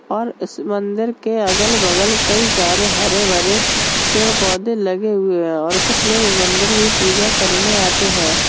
और इस मंदिर के अगल बगल कई सारे हरे भरे पेड़ पौधे लगे हुए है और कुछ लोग इस मंदिर की पूजा करने आते हैं।